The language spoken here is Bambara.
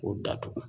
K'o datugu